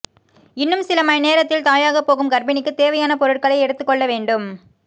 இன்னும் சில மணி நேரத்தில் தாயாகப் போகும் கர்ப்பிணிக்குத் தேவையான பொருட்களை எடுத்துக்கொள்ள வேண்டும்